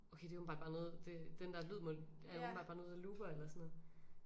Okay det er åbenbart bare noget det den der lyd må er åbenbart bare noget der looper eller sådan noget